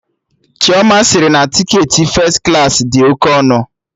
Chioma sịrị na tiketi fes klaasị dị oke ọnụ